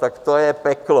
Tak to je peklo.